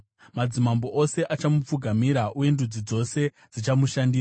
Madzimambo ose achamupfugamira uye ndudzi dzose dzichamushandira.